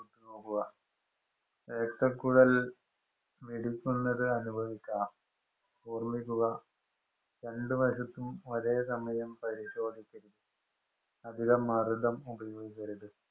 നോക്കുക. രക്തക്കുഴല്‍ മിടിക്കുന്നത് അനുഭവിക്കാം. ഓര്മ്മിക്കുക രണ്ടു വശത്തും ഒരേ സമയം പരിശോധിച്ചിരിക്കണം. അധികം മര്‍ദ്ദം ഉപയോഗിക്കരുത്.